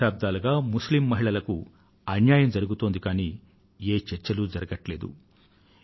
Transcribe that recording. దశాబ్దాలుగా ముస్లిమ్ మహిళలకు అన్యాయం జరిగుతోంది కానీ ఏ చర్చలూ జరగట్లేదు